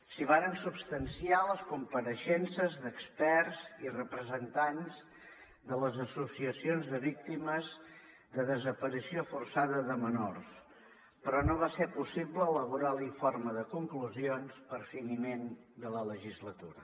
s’hi varen substanciar les compareixences d’experts i representants de les associacions de víctimes de desaparició forçada de menors però no va ser possible elaborar l’informe de conclusions per finiment de la legislatura